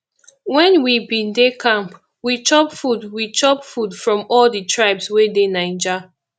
wen we bin dey camp we chop food we chop food from all di tribes wey dey naija